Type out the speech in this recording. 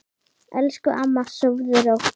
Elsku amma, sofðu rótt.